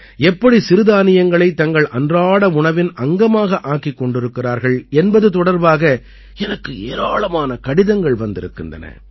எப்படி சிறுதானியங்களைத் தங்கள் அன்றாட உணவின் அங்கமாக ஆக்கிக் கொண்டிருக்கிறார்கள் என்பது தொடர்பாக எனக்கு ஏராளமான கடிதங்கள் வந்திருக்கின்றன